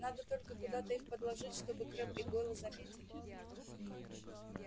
надо только куда-то их подложить чтобы крэбб и гойл заметили